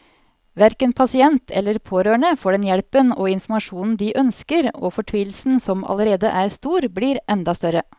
Hverken pasient eller pårørende får den hjelpen og informasjonen de ønsker, og fortvilelsen som allerede er stor, blir enda større.